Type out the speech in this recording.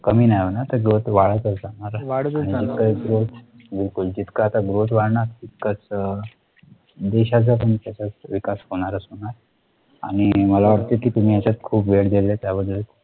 कमी नाही होणार growth वाढतच राहणार आहे बिलकुल तितकं growth वाढणार इतकच देशाच्या तुमचा विकास होणारच होणार आणि मला वाटत कि तुम्ही त्यात खूप वेळ दिले त्या बद्दल इथे थांबतो.